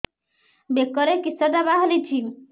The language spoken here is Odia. ବେକରେ କିଶଟା ବାହାରିଛି